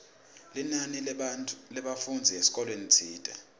linani lebafundzi esikolweni tsite